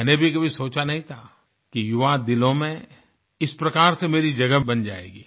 मैंने भी कभी सोचा नही था कि युवा दिलों में इस प्रकार से मेरी जगह बन जायेगी